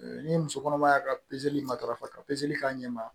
Ni muso kɔnɔma y'a ka matarafa ka k'a ɲɛ ma